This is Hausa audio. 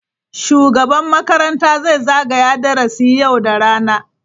Shugaban makaranta zai zagaya darasi yau da rana.